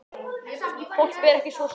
Þorpið er ekki svo stórt.